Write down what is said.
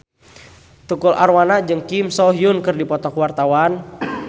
Tukul Arwana jeung Kim So Hyun keur dipoto ku wartawan